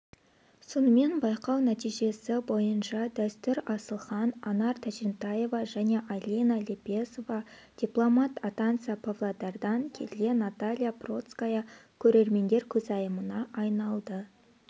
сонымен байқау нәтижесі бойынша дәстүр асылхан анар тәжентаева және айлина лепесова дипломант атанса павлодардан келген наталья процкая көрермендер көзайымына айналды